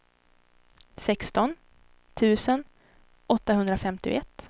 sexton tusen åttahundrafemtioett